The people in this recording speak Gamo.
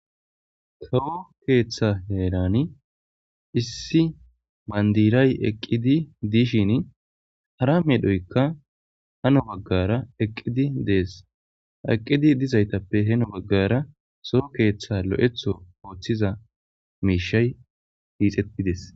Lo'o keththa herani issi banddiray eqqidi dishshini hara medhdhoyikka Henno bagara eqqidi deesi ha eqqidi dizayittappe Hano baggara soo keththa lo'eththo oththiza mishshay hixxetidde'esi